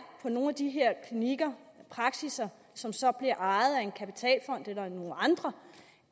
på nogle af de her klinikker praksisser som så bliver ejet af en kapitalfond eller nogle andre